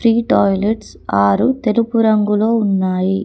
ఈ టాయిలెట్స్ ఆరు తెలుపు రంగులో ఉన్నాయి.